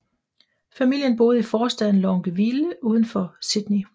Familien boede i forstaden Longueville udenfor Sydney